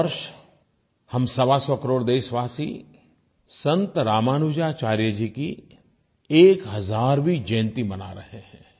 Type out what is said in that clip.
इस वर्ष हम सवासौ करोड़ देशवासी संत रामानुजाचार्य जी की 1000वीं जयंती मना रहे हैं